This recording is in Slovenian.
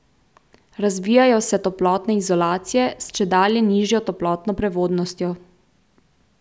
Razvijajo se toplotne izolacije s čedalje nižjo toplotno prevodnostjo.